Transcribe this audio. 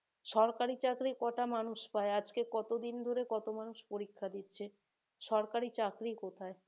সরকারি চাকরি কয়টা মানুষ পায়? আজকে কতদিন ধরে কত মানুষ পরীক্ষা দিচ্ছে সরকারি চাকরি কোথায়?